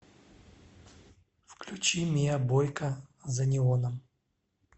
включи миа бойка за неоном